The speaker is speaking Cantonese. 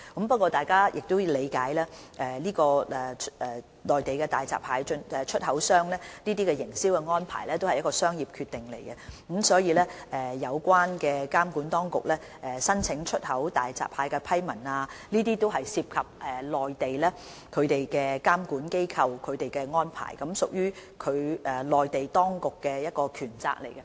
不過，大家必須理解，內地大閘蟹出口商的營銷安排屬商業決定，所以有關向內地監管當局申請出口大閘蟹的批文，涉及內地的監管安排，也是內地當局的權責。